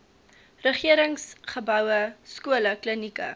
regeringsgeboue skole klinieke